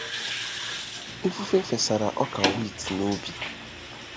Ifufe fesara ọka wit n'ubi.